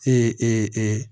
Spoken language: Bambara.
Ee